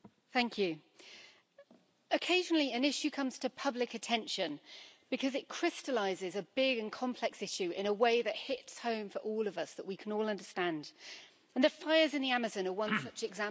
Mr President, occasionally, an issue comes to public attention because it crystallises a big and complex issue in a way that hits home for all of us that we can all understand, and the fires in the Amazon are one such example.